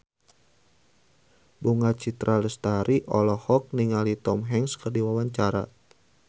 Bunga Citra Lestari olohok ningali Tom Hanks keur diwawancara